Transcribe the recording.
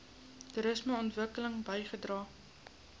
toerisme ontwikkeling bygedra